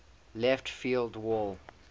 left field wall